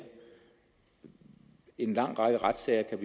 en lang række retssager kan